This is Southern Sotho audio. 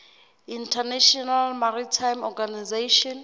international maritime organization